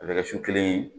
A bɛ kɛ su kelen ye